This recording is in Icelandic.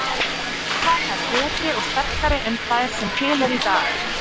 Verða þær betri og sterkari en þær sem til eru í dag?